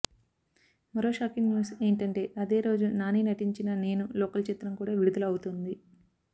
మరో shocking news ఏంటంటే అదే రోజు నాని నటించిన నేను లోకల్ చిత్రం కూడా విడుదల అవుతోంది